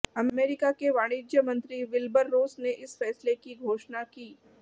America के वाणिज्य मंत्री विल्बर रोस ने इस फैसले की घोषणा की